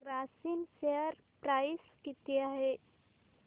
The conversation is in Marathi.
ग्रासिम शेअर प्राइस किती आहे